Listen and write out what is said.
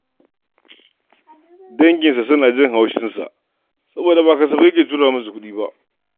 Danginsa suna jin haushinsa saboda ba kasafai yake tura musu kuɗi ba.